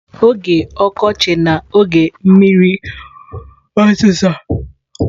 Oge ọkọchị na oge mmiri ozuzo.